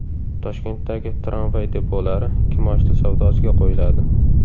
Toshkentdagi tramvay depolari kimoshdi savdosiga qo‘yiladi.